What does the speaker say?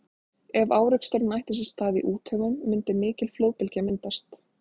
ef áreksturinn ætti sér stað í úthöfunum mundi mikil flóðbylgja myndast